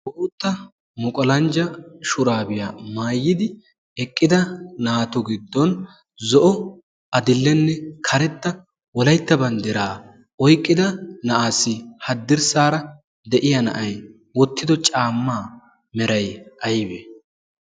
Bootta muqolanjja shuraabiyaa maayidi eqqida naato giddon zo'o adillenne karetta wolaytta banddiraa oyqqida na'aassi haddirssaara de'iya na'ay wottido caammaa meray aybe?